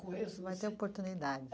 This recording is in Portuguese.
conheço, mas... Vai ter oportunidade.